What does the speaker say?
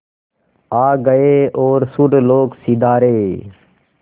आ गए और सुरलोक सिधारे